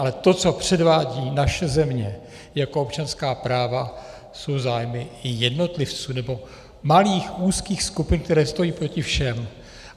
Ale to, co předvádí naše země jako občanská práva, jsou zájmy jednotlivců nebo malých úzkých skupin, které stojí proti všem.